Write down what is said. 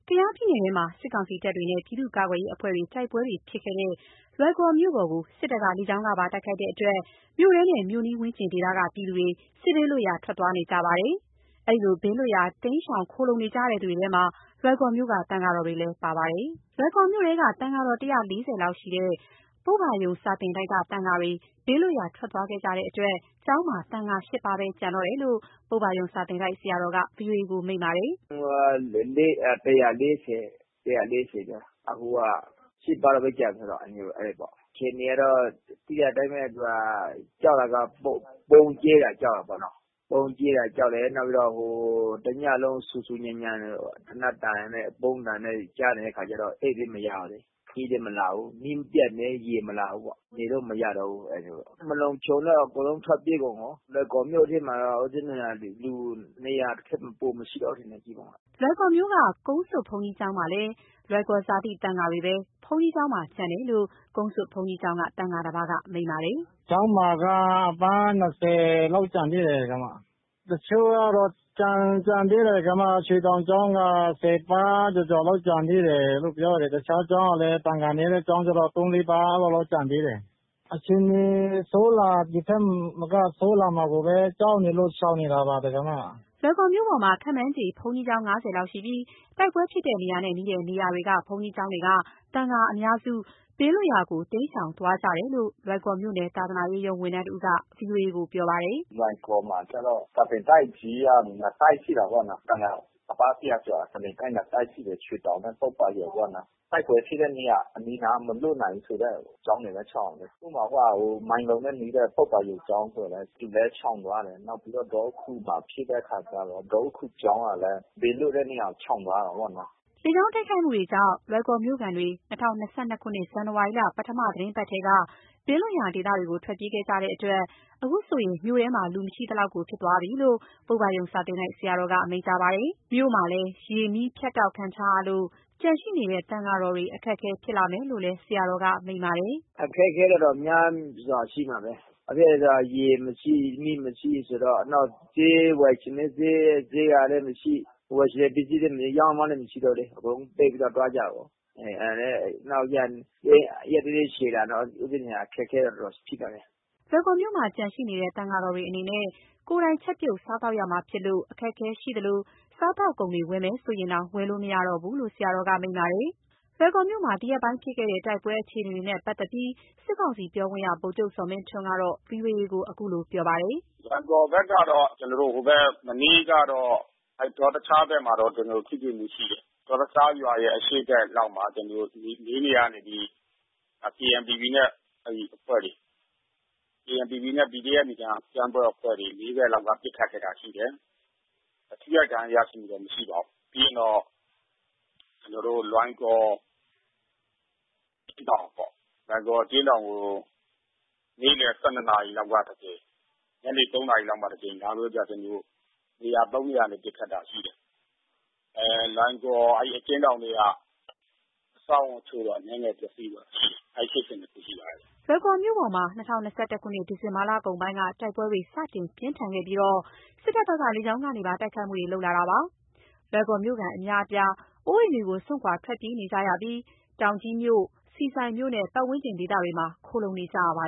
ကယားပြည်နယ်ထဲမှာ စစ်ကောင်စီတပ်တွေနဲ့ ပြည်သူ့ကာကွယ်ရေးအဖွဲ့တွေ တိုက်ပွဲဖြစ်ခဲ့တဲ့ လွိုင်ကော်မြို့ပေါ်ကို စစ်တပ်က လေကြောင်းကပါ တိုက်ခိုက်တဲ့အတွက် မြို့ထဲနဲ့ မြို့နီးဝန်းကျင်ဒေသကပြည်သူတွေ စစ်ဘေးလွတ်ရာ ထွက်သွားနေကြပါတယ်။ အဲဒီလို ဘေးလွတ်ရာ တိမ်းရှောင်ခိုလှုံနေကြသူတွေထဲမှာ လွိုင်ကော်မြို့က သံဃာတော်တွေလည်း ပါပါတယ်။ လွိုင်ကော်မြို့ထဲက သံဃာတော် ၁၄၀ လောက်ရှိတဲ့ ပုဗ္ဗာရုံစာသင်တိုက်က သံဃာတွေ ဘေးလွတ်ရာ ထွက်သွားခဲ့ကြတဲ့အတွက် ကျောင်းမှာ သံဃာ ၈ ပါးပဲ ကျန်တော့တယ်လို့ ပုဗ္ဗာရုံစာသင်တိုက် ဆရာတော်က ဗွီအိုအေကို မိန့်ပါတယ်။ “ဦးဇင်းတို့ ၁၄၀ ကျော်၊ အခုက ၈ ပါးလောက်ပဲ ကျန်တယ်ပေါ့။ အခြေအနေကတော့ သိတဲ့အတိုင်းပဲ။ ဗုံးကြဲတာ ကြောက်တာပေါ့နော်။ ဗုံးကြဲတာကြောက်တယ်။ နောက်ပြီးတော့ ဟို တလုံး ဆူဆူညံညံ သေနတ်သံနဲ့ ဗုံးသံနဲ့ ကြားနေရတဲ့အခါကျတော့ အိပ်လည်း မရဘူးလေ။ မီးလည်း မပါဘူး။ မီးပျက်တယ်၊ ရေမလာဘူးပေ့ါ။ နေလို့မရတော့ဘူး။ အဲ့မျိုးပေါ့။ မလုံခြုံတော့ အကုန်လုံးထွက်ပြေးကုန်ရော။ လွိုင်ကော်မြို့ထဲမှာတော့ လူ ၂၀၀ ထက် ပိုမရှိတော့ဘူးထင်တယ် ဒီမှာက။” လွိုင်ကော်မြို့က ကုန်းဆွတ်ဘုန်းကြီးကျောင်းမှာဆိုလည်း လွိုင်ကော်ဇာတိ သံယာတွေပဲ ဘုန်းကြီးကျောင်းမှာကျန်တယ်လို့ ကုန်းဆွတ်ဘုန်းကြီးကျောင်းက သံဃာတပါးက မိန့်ပါတယ်။ “ကျောင်းမှာက အပါး ၂၀ လောက်ကျန်သေးတယ်။ တချို့ကတော့ ကျန်သေးတယ်။ ရွှေတောင်ကျောင်းက ၁၀ ပါး ကျော်ကျော်လောက် ကျန်သေးတယ်လို့ ပြောတယ်။ တခြားကျောင်းကလည်း သံဃာနည်းတဲ့ ကျောင်းကျတော့ ၃ ၊ ၄ ပါး လောက်တော့ ကျန်သေးတယ်။ အခြေအနေ ဒီထက်မက ဆိုးလာမှာကိုပဲ ကြောက်နေလို့ ရှောင်နေတာပါ။” လွိုင်ကော်မြို့ပေါ်မှာ ခန့်မှန်းခြေ ဘုန်းကြီးကျောင်း ၅၀ လောက်ရှိပြီး တိုက်ပွဲဖြစ်တဲ့ နေရာနဲ့နီးတဲ့နေရာတွေက ဘုန်းကြီးကျောင်းတွေက သံဃာအများစု ဘေးလွတ်ရာ တိမ်းရှောင် သွားကြတယ်လို့ လွိုင်ကော်မြို့နယ် သာသနာရေးရုံး ဝန်ထမ်းတဦးက ဗွီအိုအေကို ပြောပါတယ်။ “လွိုင်ကော်မှာကျတော့ စာသင်တိုက်ကြီးက ၂ တိုက်ရှိတာပေါ့နော်။ သံဃာအပါး ၁၀၀ ကျော် စာသင်တိုက် ၂ တိုက်ရှိတယ်။ ရွှေတောင်နဲ့ ပုဗ္ဗာရုံပေါ့နော်။ တိုက်ပွဲဖြစ်တဲ့နေရာ အနီးအနား မလွတ်နိုင်ဘူးဆိုတဲ့ ကျောင်းတွေပဲ ရှောင်တယ်။ ဥပမာမိုင်းလုံနဲ့တဲ့ ပုဗ္ဗာရုံကျောင်းဆိုလည်း သူလည်း ရှောင်သွားတယ်။ နောက်ပြီးတော့ ဒေါဥခူမှာဖြစ်တဲ့အခါကျတော့ ဒေါဥခူကျောင်းကလည်း ဘေးလွတ်တဲ့နေရာကို ရှောင်သွားတာပေါ့နော်။” လေကြောင်းတိုက်ခိုက်မှုတွေကြောင့် လွိုင်ကော်မြို့ခံတွေ ၂၀၂၂ ဇန်နဝါရီ ပထမသီတင်းပတ်ကတည်းက ဘေးလွတ်ရာ ဒေသတွေကို ထွက်ပြေးခဲ့ကြတဲ့အတွက် အခုဆိုရင် မြို့ထဲမှာ လူမရှိသလောက်ဖြစ်သွားပြီလို့ ပုဗ္ဗာရုံစာသင်တိုက် ဆရာတော်က မိန့်ကြားပါတယ်။ မြို့မှာလည်း ရေ၊ မီးဖြတ်တောက်ခံထားရလို့ ကျန်ရှိနေတဲ့ သံဃာတွေ အခက်အခဲဖြစ်လာမယ်လို့ ဆရာတော်က အခုလိုမိန့်ပါတယ်။ “အခက်အခဲကတော့ များစွာရှိမှာပဲ။ ဘာဖြစ်လဲဆိုတော့ ရေမရှိ၊ မီးမရှိဘူးဆိုတော့ နောက်ဈေးဝယ်ချင်လည်း ဈေးကလည်း မရှိ၊ ဝယ်ချင်တဲ့ပစ္စည်းလည်း တယောက်မှမရှိတော့ဘူးလေ။ အကုန်လုံး ပိတ်ပြီးတော့ သွားကြတာပေါ့။ နောက် ရက်နည်းနည်းရှည်လာတော့ ဦးဇင်းတို့က အခက်အခဲကတော့ တော်တော်ရှိလာမယ်။” လွိုင်ကော်မြို့မှာ ကျန်ရှိနေတဲ့ သံဃာတော်တွေအနေနဲ့ ကိုယ်တိုင် ချက်ပြုတ်စားသောက်ရမှာဖြစ်လို့ အခက်အခဲရှိသလို စားသောက်ကုန်တွေ ဝယ်မယ်ဆိုရင်တောင် ဝယ်လို့ မရတော့ဘူးလို့ ဆရာတော်က မိန့်ပါတယ်။ လွိုင်ကော်မြို့မှာ ဒီရက်ပိုင်းဖြစ်ခဲ့တဲ့ တိုက်ပွဲအခြေအနေတွေနဲ့ပတ်သက်ပြီး စစ်ကောင်စီပြောခွင့်ရ ဗိုလ်ချုပ်ဇော်မင်းထွန်းက ဗွီအိုအေကို အခုလိုပြောပါတယ်။ “လွိုင်ကော်ဘက်ကတော့ မနေ့ကတော့ ဒေါင်ငံခါးဘက်မှာတော့ ထိတွေ့မှုရှိတယ်။ဒေါင်ငံခါးကျေးရွာရဲ့အရှေ့ဘက်လောက်မှာ လေးနေရာကနေပြီး KNPP နဲ့ အဲဒီအဖွဲ့တွေ ....KNPP နဲ့ PDF အကြမ်းဖက်အဖွဲ့တွေ ၄ နေရာလောက်ကနေ ပစ်ခတ်တိုက်ခိုက်တာရှိတယ်။ ထိခိုက်ဒဏ်ရာရတာတော့ မရှိပါဘူး။ ပြီးတော့ လွိုင်ကော်အကျဉ်းထောင်ကို နေ့လည် ၁၂ နာရီလောက်တကြိမ်၊ ညနေ ၃ နာရီလောက်မှာတကြိမ်လာပြီးတော့ ၃ နေရာကနေ ပစ်ခတ်တာရှိတယ်။ လွိုင်ကော်အကျဉ်းထောင်ထဲက အဆောက်အအုံတချို့တော့ အနည်းငယ်ပျက်စီးသွားတာရှိတယ်။ အဲဒီဖြစ်စဉ်တခုရှိပါတယ်။” လွိုင်ကော်မြို့ပေါ်မှာ ၂၀၂၁ ခုနှစ် ဒီဇင်ဘာလကုန်ပိုင်းက တိုက်ပွဲတွေ စတင်ပြင်းထန်ခဲ့ပြီး စစ်တပ်ဘက်က လေကြောင်းကနေပါ တိုက်ခိုက်မှုတွေ လုပ်လာတာဖြစ်ပါတယ်။ လွိုင်ကော်မြို့ခံအများအပြားဟာ အိုးအိမ်စွန့်ထွက်ပြေးပြီး တောင်ကြီးမြို့၊ ဆီဆိုင်မြို့နဲ့ ပတ်ဝန်းကျင်ဒေသတွေမှာ ခိုလှုံနေကြရပါ